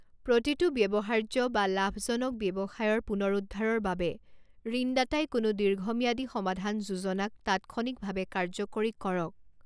প্ৰতিটো ব্যৱহাৰ্য বা লাভজনক ব্যৱসায়ৰ পুনৰুদ্ধাৰৰ বাবে ঋণদাতাই কোনো দীৰ্ঘম্যাদী সমাধান যোজনাক তাৎক্ষণিকভাৱে কাৰ্যকৰী কৰক।